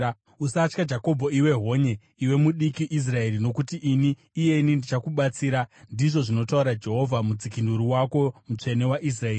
Usatya Jakobho iwe honye, iwe mudiki Israeri, nokuti ini iyeni ndichakubatsira,” ndizvo zvinotaura Jehovha, Mudzikinuri wako, Mutsvene waIsraeri.